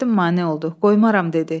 Nəsrəddin mane oldu, qoymaram dedi.